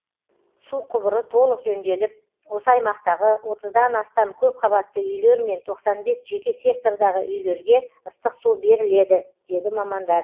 су құбыры толық жөнделіп осы аймақтағы отыздан астам көпқабатты үйлер мен тоқсан бес жеке сектордағы үйлерге ыстық су беріледі деді мамандар